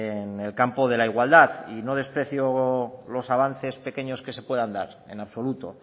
en el campo de la igualdad y no desprecio los avances pequeños que se puedan dar en absoluto